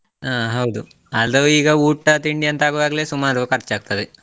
ಹ ಹೌದು, ಅದು ಈಗ ಊಟ ತಿಂಡಿ ಅಂತ ಆಗುವಾಗಲೇ ಸುಮಾರು ಖರ್ಚಿ ಆಗ್ತದೆ.